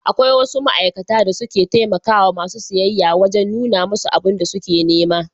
Akwai wasu ma'aikata da suke taimakawa masu siyayya wajen nuna musu abun da suke nema.